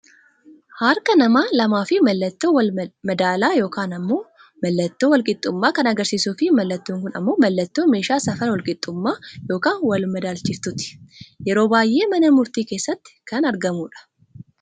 Harka nama lamaafi mallattoo wal madaalaa yookaan ammoo mallattoo wal qixxummaa kan agarsiisuu fi mallattoon kun ammoo mallattoo meeshaa safara wal qixxuummaa yookaan wal madaalchiftuuti. Yeroo baayyee mana murtii keessatti kan argamudha.